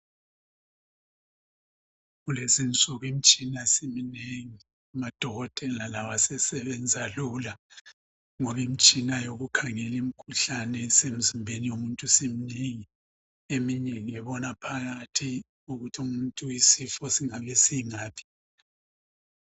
Kulezi insuku imtshina siminengi, lamadokotela lawo asesebenza lula ngoba imtshina yokukhangela imkhuhlane esemzimbeni womuntu isiminengi, eminengi ngebona phakathi ukuthi umuntu isifo singabe singaphi.